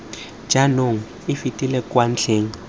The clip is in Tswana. jaanong e fetela kwa ntlheng